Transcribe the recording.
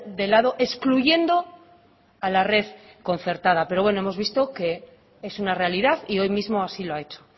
de lado excluyendo a la red concertada pero bueno hemos visto que es una realidad y hoy mismo así lo ha hecho